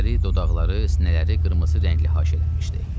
Gözləri, dodaqları, sinələri qırmızı rəngli haşiyələnmişdi.